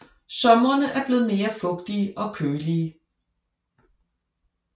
Sommerene er blevet mere fugtige og kølige